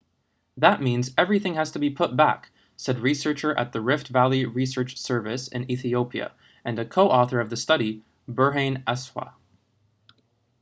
that means everything has to be put back said researcher at the rift valley research service in ethiopia and a co-author of the study berhane asfaw